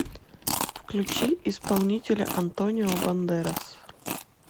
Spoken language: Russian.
включи исполнителя антонио бандерас